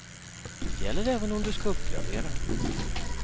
Gäller även om du ska uppgradera.